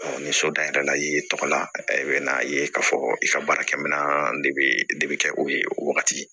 ni so da yɛlɛla i tɔgɔ la i bɛ n'a ye k'a fɔ i ka baarakɛminɛn de bɛ de bi kɛ o ye o wagati